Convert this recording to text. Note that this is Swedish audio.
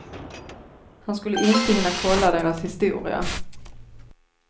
Han skulle inte hinna kolla deras historia.